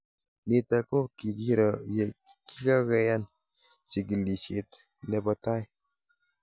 Nitok ko kikiro ye kinkakeyan chikilishet nepo tai